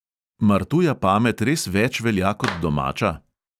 Mar tuja pamet res več velja kot domača?